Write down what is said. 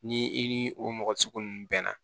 Ni i ni o mɔgɔ sugu nunnu bɛnna